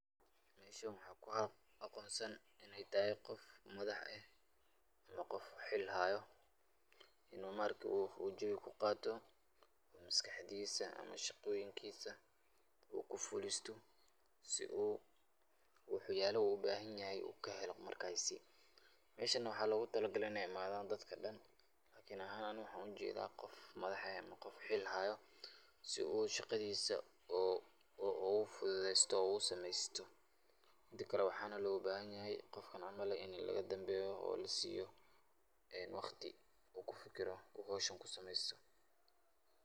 Meeshan waxaan kuagonsan, inay taxaay gof madax eh, ama gof xil xayoo, inu maarke u jawii kugaato, maskaxdisaamaa shaqoyinkisa u kufulisto, si uu waxyalaxa ubaxanyaxoo ukaxeelo, meshan waxa logutalagalee inu imadho dadka dan, ani axaan waxaan ujedha gof madax xiil xayoo, si uu shagaadhisaa o ufudhudestoo o usamestoo, midakale waxan nogalabaxanyaxay gofkan camal ini lagadanbeyoo, oo lasiyo wagtii uu kufikiroo xowshis kusamestoo.